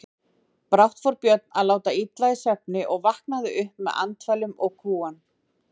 Brátt fór Björn að láta illa í svefni og vaknaði upp með andfælum og kúgan.